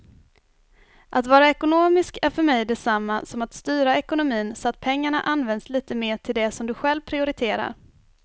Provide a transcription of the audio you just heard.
Att vara ekonomisk är för mig detsamma som att styra ekonomin så att pengarna används lite mer till det som du själv prioriterar.